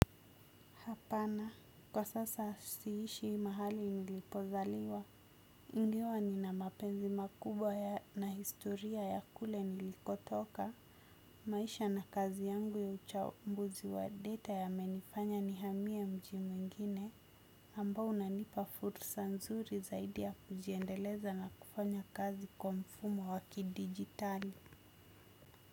Hapana, kwa sasa siishi mahali nilipozaliwa, ingiwa nina mapenzi makubwa na historia ya kule nilikotoka, maisha na kazi yangu ya uchambuzi wa data yamenifanya nihamie mji mwingine, ambao unanipa fursa nzuri zaidi ya kujiendeleza na kufanya kazi kwa mfumo wa kidigitali.